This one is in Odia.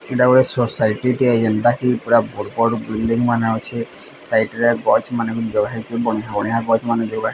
ଏଟା ଗୋଟେ ସୋସାଇଟି ଟେ ଏନ୍ତାକି ପୁରା ବଡ ବିଲାଇନ୍ ମାନେ ଅଛି ସାଇଟ୍ ରେ ଗଛ ମାନେ ଗୁଞ୍ଜ ହେଇକି ବଢ଼ିଆ ବଢ଼ିଆ ଗଛ ମାନେ ଜେଉଭା --